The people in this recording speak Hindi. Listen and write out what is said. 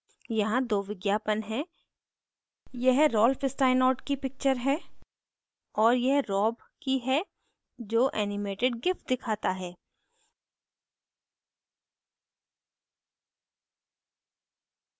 यहाँ दो विज्ञापन हैं यह रॉल्फ स्टाइनॉर्ट की पिक्चर है और यह rob की है जो animated gif दिखाता है